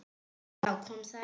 Já, kom það ekki!